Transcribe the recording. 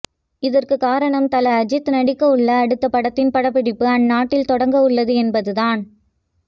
இதற்கு காரணம் தல அஜித் நடிக்கவுள்ள அடுத்த படத்தின் படப்பிடிப்பு அந்நாட்டில் தொடங்கவுள்ளது என்பதுதான்